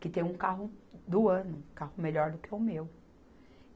que tem um carro do ano, um carro melhor do que o meu.